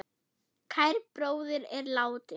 Kær bróðir er látinn.